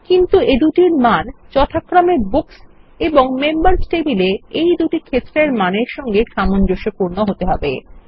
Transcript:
কিন্তু এদুটির মান যথাক্রমে বুকস এবং মেম্বার্স টেবিলে এই দুটি ক্ষেত্রের মানের সঙ্গে সামঞ্জস্যপূর্ণ হতে হবে